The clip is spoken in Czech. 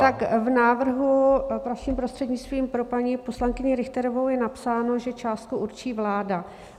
Tak v návrhu, vaším prostřednictvím, pro paní poslankyni Richterovou, je napsáno, že částku určí vláda.